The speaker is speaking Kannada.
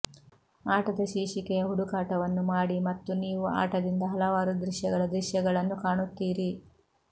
ಆಟದ ಶೀರ್ಷಿಕೆಯ ಹುಡುಕಾಟವನ್ನು ಮಾಡಿ ಮತ್ತು ನೀವು ಆಟದಿಂದ ಹಲವಾರು ದೃಶ್ಯಗಳ ದೃಶ್ಯಗಳನ್ನು ಕಾಣುತ್ತೀರಿ